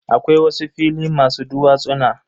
Akwai wasu fili masu duwatsuna.